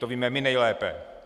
To víme my nejlépe.